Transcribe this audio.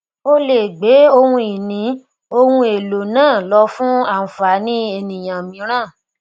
ó lè gbé ohun ìní ohun èlò náà lọ fún ànfàní ènìyàn mìíràn